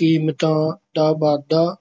ਕੀਮਤਾਂ ਦਾ ਵਾਧਾ